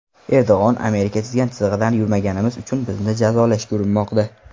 Erdo‘g‘on: Amerika chizgan chizig‘idan yurmaganimiz uchun bizni jazolashga urinmoqda.